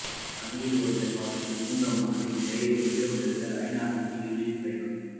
பனியில் உறைந்த கால்கள் உந்த மனதில் நிறைந்த ஈழம் வெல்ல ஐநா நோக்கிய ஈருருளிப் பயணம்